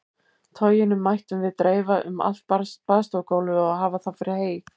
Toginu mættum við dreifa um allt baðstofugólfið og hafa það fyrir hey.